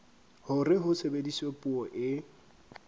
hore ho sebediswe puo e